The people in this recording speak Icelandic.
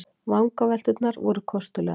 Vangavelturnar voru kostulegar.